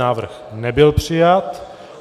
Návrh nebyl přijat.